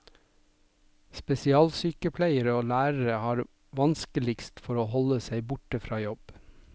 Spesialsykepleiere og lærere har vanskeligst for å holde seg borte fra jobb.